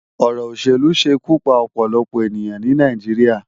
Òrò óṣélú ṣé ikú pá òpòlòpò eniyán ni Náijiriá